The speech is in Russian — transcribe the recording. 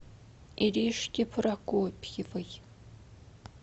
иришке прокопьевой